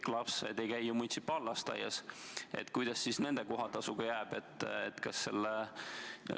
Kõik lapsed ei käi ju munitsipaallasteaias, kuidas nende kohatasuga jääb?